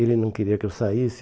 Ele não queria que eu saísse.